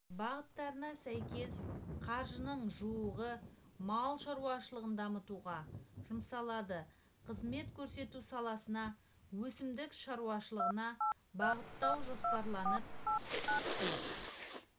бағыттарына сәйкес қаржының жуығы мал шаруашылығын дамытуға жұмсалады қызмет көрсету саласына өсімдік шаруашылығына бағыттау жоспарланып